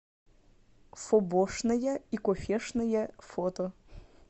фобошная и кофешная фото